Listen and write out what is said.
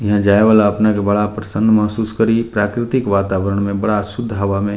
यहाँ जाये वाला अपन के बड़ा प्रसन्न मासूस करी प्राकृतिक वातावर्ण में बड़ा शुद्ध हवा में --